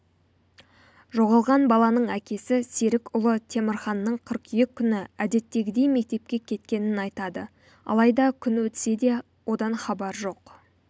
жоғалған баланың әкесі серік ұлы темірханның қыркүйек күні әдеттегідей мектепке кеткенін айтады алайда күн өтсе де одан хабар жоқ